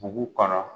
Dugu kɔnɔ